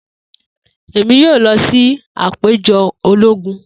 Emi yoo lọ si apejọ ologun.